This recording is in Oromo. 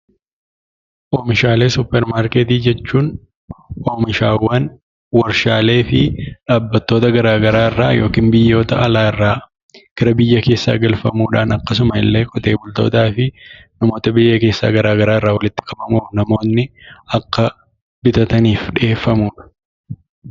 Oomishaalee suuparmarkeetii jechuun oomishaawwan warshaalee fi dhaabbattoota garaa garaa irraa yookin biyyoota alaarraa gara biyya keessaa galfamuudhaan akkasumallee qotee bultootaa fi namoota biyya keessaa garaa garaa irraa walitti qabamuun namoonni akka bitataniif dhiyeeffamudha.